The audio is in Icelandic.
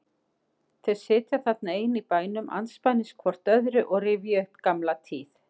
Þau sitja þarna ein í bænum andspænis hvort öðru og rifja upp gamla tíð.